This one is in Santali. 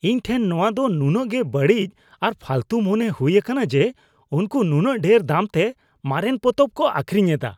ᱤᱧ ᱴᱷᱮᱱ ᱱᱚᱶᱟ ᱫᱚ ᱱᱩᱱᱟᱹᱜ ᱜᱮ ᱵᱟᱹᱲᱤᱡ ᱟᱨ ᱯᱷᱟᱹᱞᱛᱩ ᱢᱚᱱᱮ ᱦᱩᱭ ᱟᱠᱟᱱᱟ ᱡᱮ ᱩᱱᱠᱩ ᱱᱩᱱᱟᱹᱜ ᱰᱷᱮᱨ ᱫᱟᱢᱛᱮ ᱢᱟᱨᱮᱱ ᱯᱚᱛᱚᱵ ᱠᱚ ᱟᱹᱠᱷᱨᱤᱧ ᱮᱫᱟ ᱾